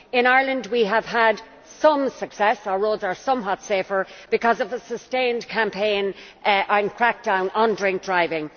In Ireland we have had some success our roads are somewhat safer because of a sustained campaign and crackdown on drink driving.